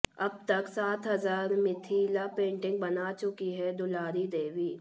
अब तक सात हजार मिथिला पेंटिंग बना चुकी हैं दुलारी देवी